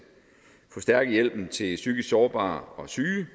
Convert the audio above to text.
forstærke hjælpen til psykisk sårbare og syge